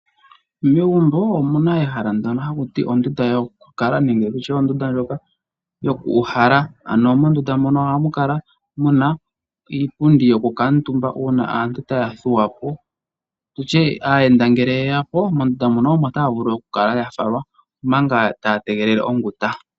Megumbo omuna ehala ndono haku ti ondunda yokukala nenge tutye ondunda ndjoka yoku uhala. Ano mondunda mono ohamu kala muna iipundi yokukuutumba uuna aantu taya thuwa po. Tutye aayenda ngele yeya po mondunda mono omo taya vulu okukala ya falwa omanga taya tegelele onguta.